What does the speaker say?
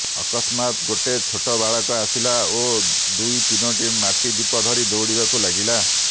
ଅକସ୍ମାତ୍ ଗୋଟେ ଛୋଟ ବାଳକ ଆସିଲା ଓ ଦୁଇ ତିନୋଟି ମାଟି ଦୀପ ଧରି ଦୌଡ଼ିବାକୁ ଲାଗିଲା